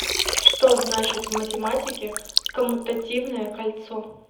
что значит в математике коммутативное кольцо